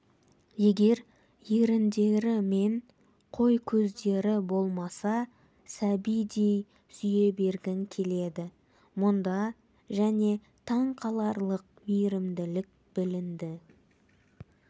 егер еріндері мен қой көздері болмаса сәбидей сүйе бергің келеді мұнда және таңқаларлық мейірімділік білінді